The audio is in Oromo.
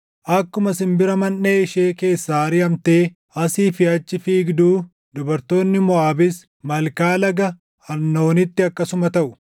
Akkuma simbira manʼee ishee keessaa ariʼamtee asii fi achi fiigduu dubartoonni Moʼaabis malkaa laga Arnoonitti akkasuma taʼu.